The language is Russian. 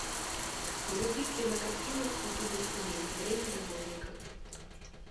вруби кинокартину с пяти до семи время любовников